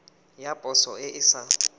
ya poso e e sa